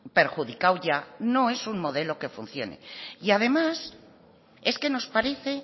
perjudicado ya no es un modelo que funcione además es que nos parece